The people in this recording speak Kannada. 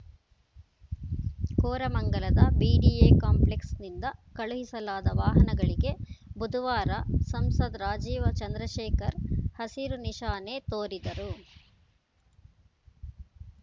ಕೋರಮಂಗಲದ ಬಿಡಿಎ ಕಾಂಪ್ಲೆಕ್ಸ್‌ನಿಂದ ಕಳುಹಿಸಲಾದ ವಾಹನಗಳಿಗೆ ಬುಧವಾರ ಸಂಸದ ರಾಜೀವ್‌ ಚಂದ್ರಶೇಖರ್‌ ಹಸಿರು ನಿಶಾನೆ ತೋರಿದರು